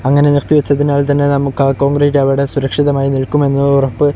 അങ്ങനെ നിർത്തിവച്ചതിനാൽ തന്നെ നമുക്ക് ആ കോൺഗ്രീറ്റ് അവിടെ സുരക്ഷിതമായി നിൽക്കും എന്ന ഉറപ്പ്--